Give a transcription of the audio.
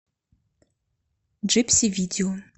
джипси видео